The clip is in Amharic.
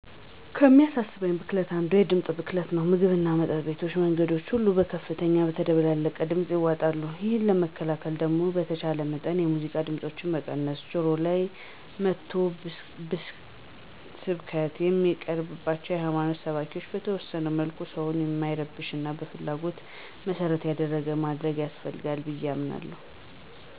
ከሚያሳስበኝ ብክለት አንዱ የድምፅ ብክለት ነው። ምግብና መጠጥ ቤቶች መንገዶች ሁሉ በከፍተኛና በተደበላለቀ ድምፅ ይዋጣሉ። ይህንን ለመከላከል ደግሞ በተቻለ መጠን የሙዚቃ ድምፆችን መቀነስ፣ ጆሮ ላይ መጥቶ ስብከት የሚያቀርብን የሀይማኖት ሰባኪ በተወሰነ መልኩ ሰውን በማይረብሽና ፍላጎትን መሰረት ያደረገ ማድረግ ያስፈልጋል ብዬ አምናለሁ።